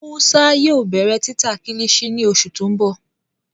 Musa yóò bẹrẹ tita Kilichi ni oṣu ti n bọ